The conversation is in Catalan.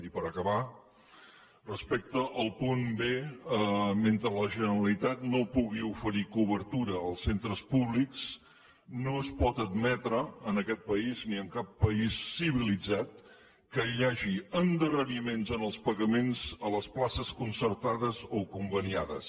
i per acabar respecte al punt b mentre la generalitat no pugui oferir cobertura als centres públics no es pot admetre en aquest país ni en cap país civilitzat que hi hagi endarreriments en els pagaments a les places concertades o conveniades